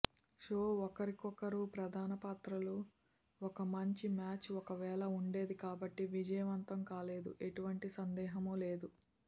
show ఒకరికొకరు ప్రధాన పాత్రలు ఒక మంచి మ్యాచ్ ఒకవేళ ఉండేది కాబట్టి విజయవంతం కాలేదు ఎటువంటి సందేహం లేదు